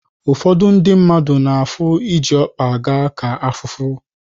Ụfọdụ ndị mmadụ na-afụ iji ọkpa aga ka afụfụ.